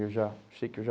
Eu já sei que eu já...